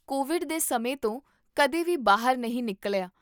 Covid ਦੇ ਸਮੇਂ ਤੋਂ ਕਦੇ ਵੀ ਬਾਹਰ ਨਹੀਂ ਨਿਕਲਿਆ